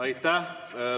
Aitäh!